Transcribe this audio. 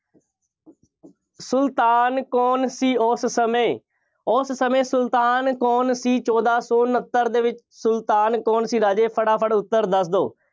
ਸੁਲਤਾਨ ਕੌਣ ਸੀ ਉਸ ਸਮੇਂ। ਉਸ ਸਮੇਂ ਸੁਲਤਾਨ ਕੌਣ ਸੀ ਚੋਦਾਂ ਸੌ ਉਨੱਤਰ ਦੇ ਵਿੱਚ, ਸੁਲਤਾਨ ਕੌਣ ਸੀ ਰਾਜੇ, ਫਟਾਫਟ ਉੱਤਰ ਦੱਸ ਦਿਓ।